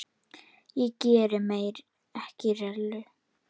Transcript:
Ég geri mér ekki rellu.